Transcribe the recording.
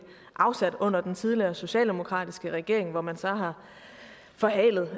afsat under den tidligere socialdemokratiske regering hvor man så har forhalet